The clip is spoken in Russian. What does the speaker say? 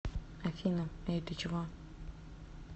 афина эй ты чего